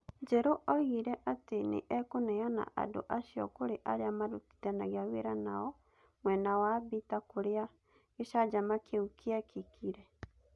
Njeru oigire atĩ nĩ ekũneana andũ acio kũrĩ arĩa marutithanagia wĩra nao mwena wa Mbita kũrĩa gĩcanjama kĩu kĩekĩkire.